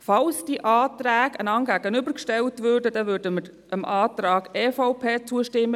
Falls die Anträge einander gegenübergestellt werden, würden wir dem Antrag EVP zustimmen.